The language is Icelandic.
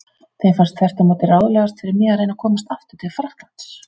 Þeim fannst þvert á móti ráðlegast fyrir mig að reyna að komast aftur til Frakklands.